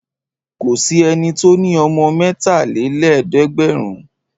Kò sí ẹni tó ní ọmọ mẹ́talélẹ́ẹ̀dẹ́gbẹ̀rún.